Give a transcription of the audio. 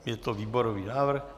Je to výborový návrh.